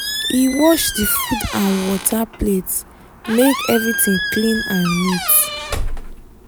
he wash the food and water plate make everything clean and neat